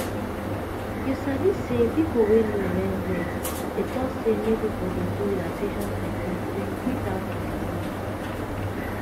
you sabi say people wey know well well dey talk say make people dey do relaxation technique to increase how dem dey live.